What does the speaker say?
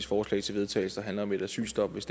forslag til vedtagelse der handler om et asylstop hvis